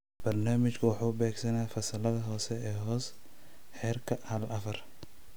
Barnaamijku wuxuu beegsanayaa fasallada hoose ee hoose (Heerka haal -afaar).